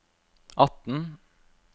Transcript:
atten